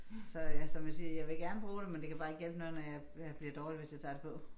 Så ja som jeg siger jeg vil gerne bruge det men det kan bare ikke hjælpe noget når jeg jeg bliver dårlig hvis jeg tager det på